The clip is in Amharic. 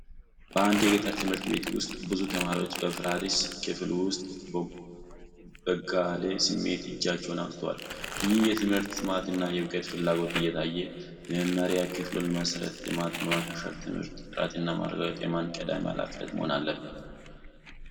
በአንድ የገጠር ትምህርት ቤት ውስጥ ብዙ ተማሪዎች በፈራረሰ ክፍል ውስጥ በጋለ ስሜት እጃቸውን አውጥተዋል። ይህ የትምህርት ጥማትና የዕውቀት ፍላጎት እየታየ፣ የመማሪያ ክፍሉን መሠረተ ልማት በማሻሻል የትምህርት ጥራትን ማረጋገጥ የማን ቀዳሚ ኃላፊነት መሆን አለበት?